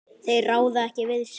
Þeir ráða ekki við sig.